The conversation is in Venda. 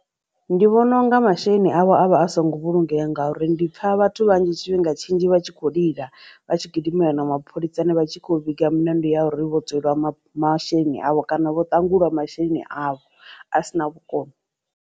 Ndi vhona unga masheleni avho avha a songo vhulungea ngauri ndi pfa vhathu vhanzhi tshifhinga tshinzhi vha tshi kho lila vha tshi gidimela na mapholisani vha tshi kho vhiga mulandu ya uri vho tsweliwa masheleni avho kana vho ṱangulwa masheleni avho a sina vhukono.